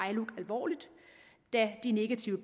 iluc alvorligt da de negative